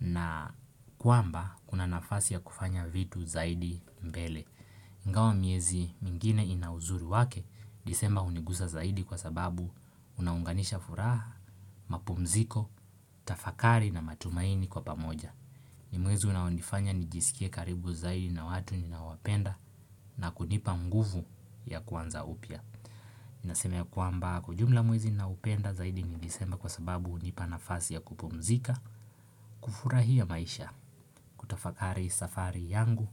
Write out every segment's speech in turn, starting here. Na kuamba, kuna nafasi ya kufanya vitu zaidi mbele. Ingawa miezi mingine ina uzuri wake, disemba hunigusa zaidi kwa sababu unaunganisha furaha, mapumziko, tafakari na matumaini kwa pamoja. Ni mwezi unaonifanya nijisikie karibu zaidi na watu ninawapenda na kunipa nguvu ya kuanza upya. Nasema ya kwamba kwa ujumla mwezi naupenda zaidi ni disemba kwa sababu hunipa nafasi ya kupumzika, kufurahia maisha. Hutafakari safari yangu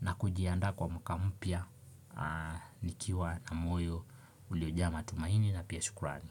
na kujiandaa kwa mwaka mpya nikiwa na moyo ulioja matumaini na pia shukurani.